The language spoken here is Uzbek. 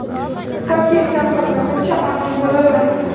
toki isyon qilmaguncha ongli bo‘lolmaydilar.